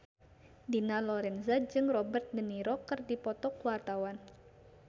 Dina Lorenza jeung Robert de Niro keur dipoto ku wartawan